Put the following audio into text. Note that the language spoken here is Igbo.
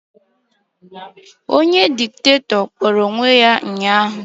Onye Diktatọ kpọrọ onwe ya ụnyaahụ